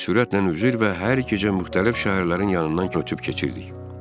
Biz sürətlə üzür və hər gecə müxtəlif şəhərlərin yanından köçüb keçirdik.